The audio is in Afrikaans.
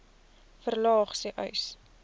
verlaag sê uys